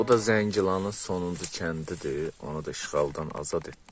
Bu da Zəngilanın sonuncu kəndidir, onu da işğaldan azad etdik.